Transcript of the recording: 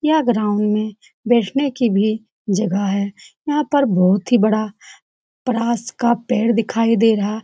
यह ग्राउंड में बैठने की भी जगह है यहाँ पर बहुत ही बड़ा का पेड़ दिखाई दे रहा --